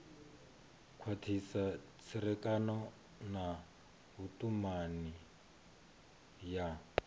khwathisa tserekano na vhutumani ya